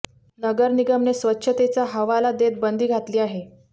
नगर निगमने स्वच्छतेचा हवाला देत बंदी घातली आहे